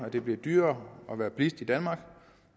at det bliver dyrere at være bilist i danmark